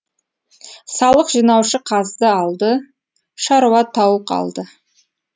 салық жинаушы қазды алды шаруа тауық алды